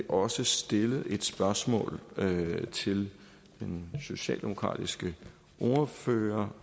også stillet et spørgsmål til den socialdemokratiske ordfører